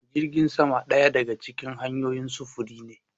Jirgin sama ɗaya daga cikin hanyoyin sufuri ne.